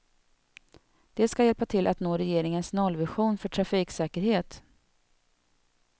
Det ska hjälpa till att nå regeringens nollvision för trafiksäkerhet.